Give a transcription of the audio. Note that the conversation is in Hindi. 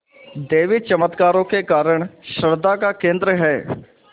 देवी चमत्कारों के कारण श्रद्धा का केन्द्र है